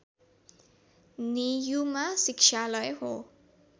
नेयुमा शिक्षालय हो